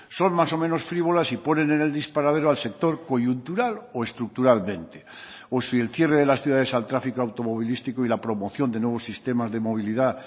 son más o menos frívolas y ponen en el disparadero al sector coyuntural o estructuralmente o si el cierre de las ciudades al tráfico automovilístico y la promoción de nuevos sistemas de movilidad